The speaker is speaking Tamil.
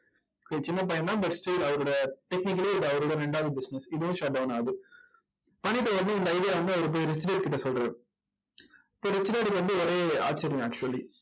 சின்னப் பையன் தான் but still அவரோட technically இது அவரோட ரெண்டாவது business இதுவும் shut down ஆகுது பண்ணிட்டு உடனே இந்த idea வை வந்து அவரு போய் ரிச் டாட் கிட்ட சொல்றாரு, இப்ப ரிச் டாட்க்கு வந்து ஒரே ஆச்சரியம் actually